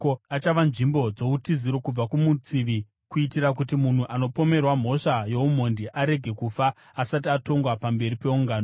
Achava nzvimbo dzoutiziro kubva kumutsivi, kuitira kuti munhu anopomerwa mhosva youmhondi arege kufa asati atongwa pamberi peungano.